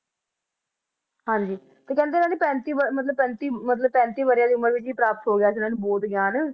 ਹਾਂਜੀ ਤੇ ਕਹਿੰਦੇ ਇਹਨਾਂ ਨੇ ਪੈਂਤੀ ਬ~ ਮਤਲਬ ਪੈਂਤੀ ਮਤਲਬ ਪੈਂਤੀ ਵਰਿਆਂ ਦੀ ਉਮਰ ਵਿੱਚ ਹੀ ਪ੍ਰਾਪਤ ਹੋ ਗਿਆ ਸੀ ਇਹਨਾਂ ਨੂੰ ਬੋਧ ਗਿਆਨ